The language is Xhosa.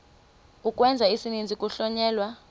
ukwenza isininzi kuhlonyelwa